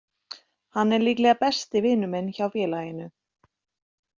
Hann er líklega besti vinur minn hjá félaginu.